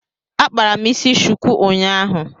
Akpara m isi shuku unyaahu